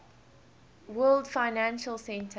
world financial center